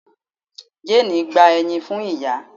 Jane gba eyin fun iya